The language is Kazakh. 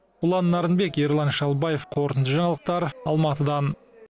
ұлан нарынбек ерлан шалбаев қорытынды жаңалықтар алматыдан